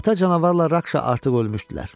Ata canavarla Rakşa artıq ölmüşdülər.